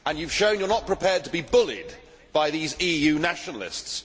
You have shown you are not prepared to be bullied by these EU nationalists.